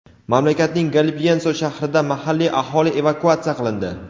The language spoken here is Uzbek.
Mamlakatning Galipyenso shahrida mahalliy aholi evakuatsiya qilindi.